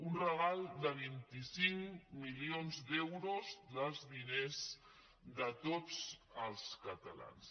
un regal de vint cinc milions d’euros dels di·ners de tots els catalans